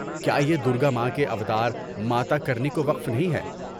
کیا یہ درگا ماں کے اوتار ماتا کرنی کو وقف نہیں ہے؟